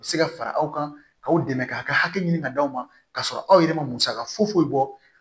U bɛ se ka fara aw kan k'aw dɛmɛ k'a ka hakɛ ɲini ka d'aw ma k'a sɔrɔ aw yɛrɛ ma musaka foyi foyi bɔ